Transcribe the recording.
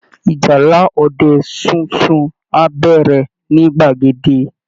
Ìjálá ọdẹ sunsun á bẹ̀rẹ̀ ní gbàgede